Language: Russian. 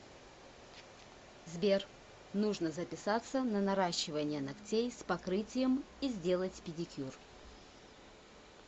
сбер нужно записаться на наращивание ногтей с покрытием и сделать педикюр